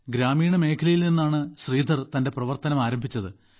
ഗ്രാമീണ മേഖലയിൽ നിന്നാണ് ശ്രീധർ തന്റെ പ്രവർത്തനം ആരംഭിച്ചത്